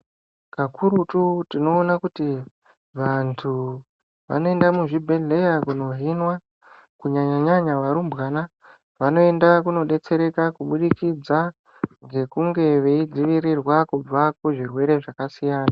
Kakurutu tinoona kuti vantu vanoenda muzvi bhedhleya kuno hinwa ku nyanya nyanya varumbwana vanoenda kumo betsereka kubudikidza ngekunge vei dzivirirwa ku zvirwere zvaka siyana .